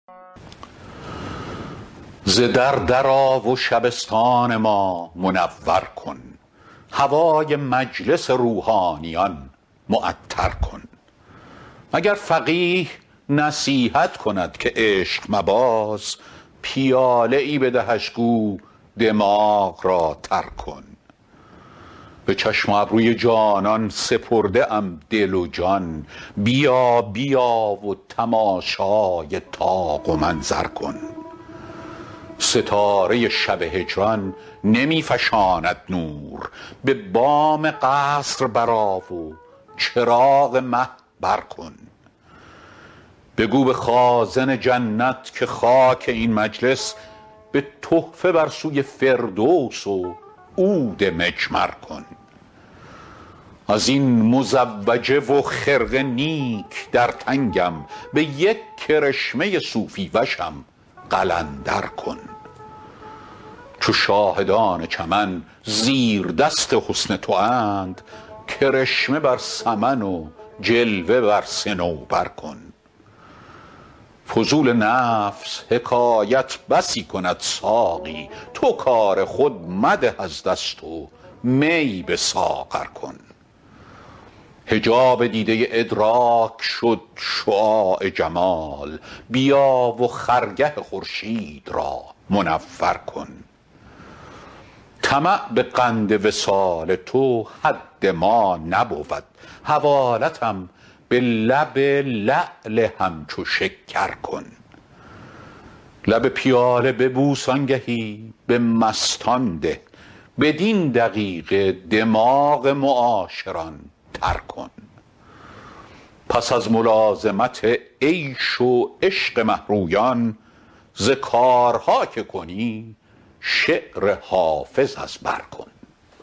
ز در در آ و شبستان ما منور کن هوای مجلس روحانیان معطر کن اگر فقیه نصیحت کند که عشق مباز پیاله ای بدهش گو دماغ را تر کن به چشم و ابروی جانان سپرده ام دل و جان بیا بیا و تماشای طاق و منظر کن ستاره شب هجران نمی فشاند نور به بام قصر برآ و چراغ مه بر کن بگو به خازن جنت که خاک این مجلس به تحفه بر سوی فردوس و عود مجمر کن از این مزوجه و خرقه نیک در تنگم به یک کرشمه صوفی وشم قلندر کن چو شاهدان چمن زیردست حسن تواند کرشمه بر سمن و جلوه بر صنوبر کن فضول نفس حکایت بسی کند ساقی تو کار خود مده از دست و می به ساغر کن حجاب دیده ادراک شد شعاع جمال بیا و خرگه خورشید را منور کن طمع به قند وصال تو حد ما نبود حوالتم به لب لعل همچو شکر کن لب پیاله ببوس آنگهی به مستان ده بدین دقیقه دماغ معاشران تر کن پس از ملازمت عیش و عشق مه رویان ز کارها که کنی شعر حافظ از بر کن